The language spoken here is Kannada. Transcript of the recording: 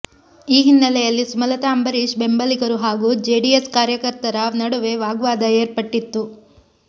ಈ ಹಿನ್ನೆಲೆಯಲ್ಲಿ ಸುಮಲತಾ ಅಂಬರೀಶ್ ಬೆಂಬಲಿಗರು ಹಾಗೂ ಜೆಡಿಎಸ್ ಕಾರ್ಯಕರ್ತರ ನಡುವೆ ವಾಗ್ವಾದ ಏರ್ಪಟ್ಟಿತ್ತು